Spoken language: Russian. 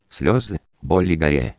слезы боли